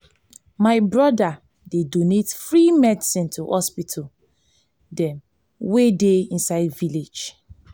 my broda dey donate free medicine to hospital dem wey dey inside village.